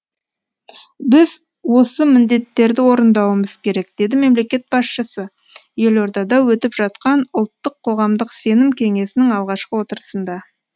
біз осы міндеттерді орындауымыз керек деді мемлекет басшысы елордада өтіп жатқан ұлттық қоғамдық сенім кеңесінің алғашқы отырысында